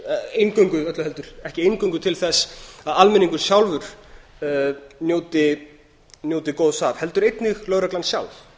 eingöngu öllu heldur ekki eingöngu til þess að almenningur sjálfur njóti góðs af heldur einnig lögreglan sjálf